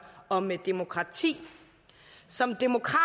og med demokrati som demokrat